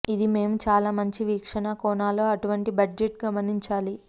ఇది మేము చాలా మంచి వీక్షణ కోణాలు అటువంటి బడ్జెట్ గమనించాలి